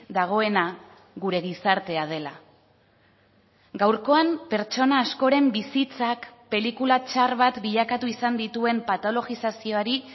dagoena gure gizartea dela gaurkoan pertsona askoren bizitzak pelikula txar bat bilakatu izan dituen patologizazioari